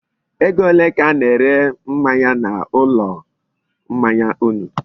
Ego ole ka a na-ere mmanya na ulo mmanya unu?